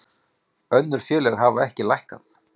Önnur félög hafa ekki lækkað